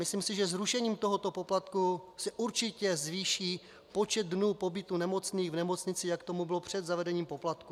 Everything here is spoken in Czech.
Myslím si, že zrušením tohoto poplatku se určitě zvýší počet dnů pobytu nemocných v nemocnici, jak tomu bylo před zavedením poplatků.